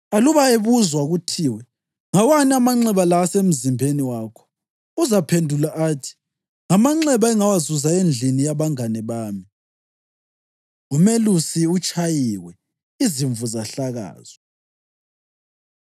Aluba ebuzwa kuthiwe, ‘Ngawani amanxeba la asemzimbeni wakho?’ Uzaphendula athi, ‘Ngamanxeba engawazuza endlini yabangane bami.’ Umelusi Utshayiwe, Izimvu Zahlakazwa